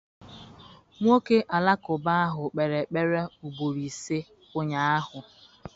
Nwoke Alakụba ahụ kpere ekpere ugboro ise ụnyahụ.